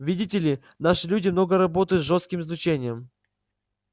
видите ли наши люди много работают с жёстким излучением